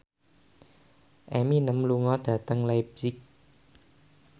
Eminem lunga dhateng leipzig